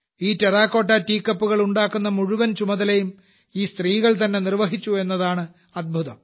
ഈ terracotta tea കപ്പുകൾ ഉണ്ടാക്കുന്ന മുഴുവൻ ചുമതലയും ഈ സ്ത്രീകൾതന്നെ നിർവഹിച്ചു എന്നതാണ് അത്ഭുതം